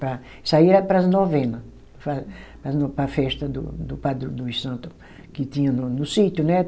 Para. Isso aí era para as novena, para as no, para a festa do do padro, dos santo que tinha no no sítio, né.